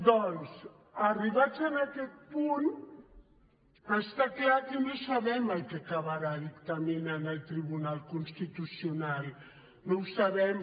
doncs arribats a aquest punt està clar que no sabem el que acabarà dictaminant el tribunal constitucional no ho sabem